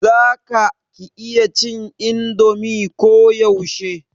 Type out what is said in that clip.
za ka /ki iya cin indomi ko yaushe?